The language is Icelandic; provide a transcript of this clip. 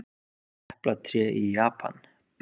Eplatré í Japan.